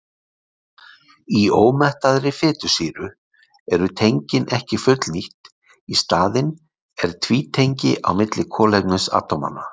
Í ómettaðri fitusýru eru tengin ekki fullnýtt, í staðinn er tvítengi á milli kolefnisatómanna.